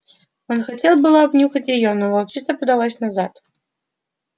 он хотел было обнюхать её но волчица подалась назад